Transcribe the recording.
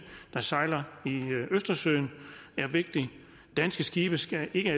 der sejler i østersøen er vigtig danske skibe skal ikke